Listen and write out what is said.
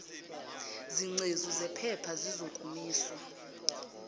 zingcezu zephepha zizokomiswa